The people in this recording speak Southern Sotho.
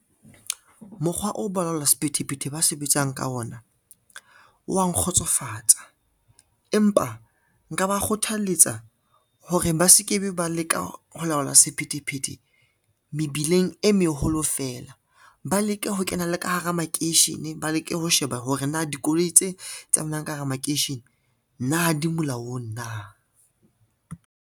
Mokgwa oo balaola sephethephethe ba sebetsang ka ona wa nkgotsofatsa, empa nka ba kgothaletsa hore ba se ke be ba leka ho laola sephethephethe mebileng e meholo feela. Ba leke ho kena le ka hara makeishene, ba leke ho sheba hore na dikoloi tse tsamayang ka hara makeishene na ha di molaong na.